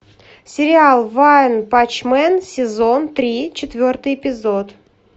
сериал ванпанчмен сезон три четвертый эпизод